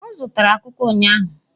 O zutara kuká ụnyaahụ?